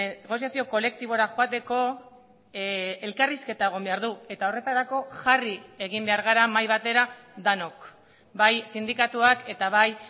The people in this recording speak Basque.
negoziazio kolektibora joateko elkarrizketa egon behar du eta horretarako jarri egin behar gara mahai batera denok bai sindikatuak eta bai